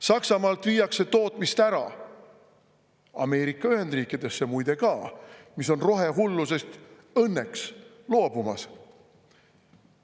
Saksamaalt viiakse tootmist ära, ja Ameerika Ühendriikidesse muide ka, mis on rohehullusest õnneks loobumas.